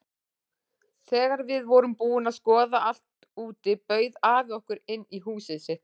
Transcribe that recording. Þegar við vorum búin að skoða allt úti bauð afi okkur inn í húsið sitt.